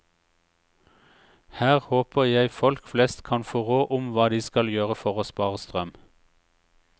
Her håper jeg folk flest kan få råd om hva de skal gjøre for å spare strøm.